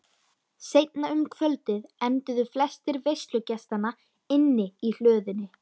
Seinna um kvöldið enduðu flestir veislugestanna inni í hlöðunni.